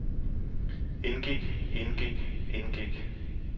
indgik indgik indgik